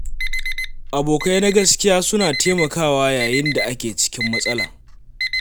Abokai na gaskiya suna taimakawa yayin da ake cikin matsala.